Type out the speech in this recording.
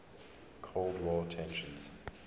cold war tensions